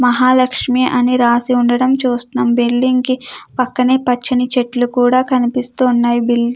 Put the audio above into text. మహాలక్ష్మి అని రాసి ఉండడం చూస్తునం బిల్డింగ్ కి పక్కనే పచ్చని చెట్లు కూడా కనిపిస్తున్నాయి